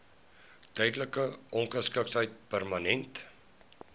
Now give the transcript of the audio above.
tydelike ongeskiktheid permanente